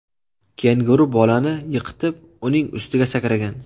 Kenguru bolani yiqitib, uning ustiga sakragan.